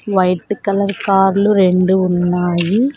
White colour కార్లు రెండు ఉన్నాయి.